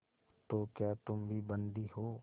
तो क्या तुम भी बंदी हो